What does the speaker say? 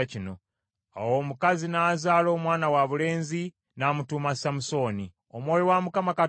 Awo omukazi n’azaala omwana wabulenzi, n’amutuuma Samusooni. Omwana n’akula, Mukama Katonda n’amuwa omukisa.